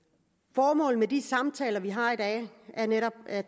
formålet med de samtaler vi har i dag er netop at